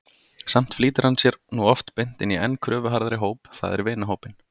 Samt flýtir hann sér nú oft beint inn í enn kröfuharðari hóp, það er vinahópinn.